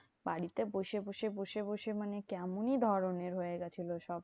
বাড়িতে বসে বসে বসে বসে মানে কেমনই ধরণের হয়ে গেছিলো সব।